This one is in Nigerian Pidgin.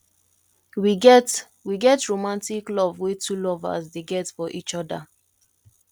we get we get romantic love wey two lovers dey get for each oda